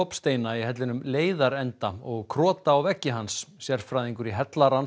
dropsteina í hellinum leiðarenda og krota á veggi hans sérfræðingur í